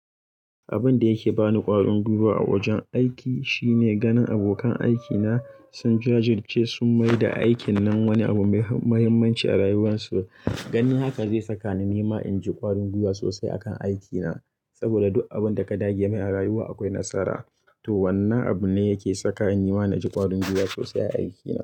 Abin da yake bani ƙwarin gwiwa a wajen aiki shine ganin abokan aikina sun jajirce sun mai da aikin nan wani abu mai muhimmanci a rayuwarsu. Ganin haka zai saka ni nima in ji ƙwarin gwiwa sosai akan aikina. Saboda duk abin da ka dage mai a rayuwa akwai nasara. To, wannan abu ne yake saka nima na ji ƙwarin gwiwa sosai a aikina.